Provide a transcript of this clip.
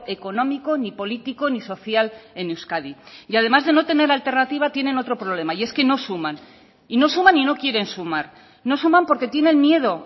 económico ni político ni social en euskadi y además de no tener alternativa tienen otro problema y es que no suman y no suman y no quieren sumar no suman porque tienen miedo